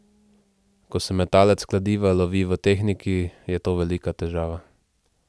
Ko se metalec kladiva lovi v tehniki, je to velika težava.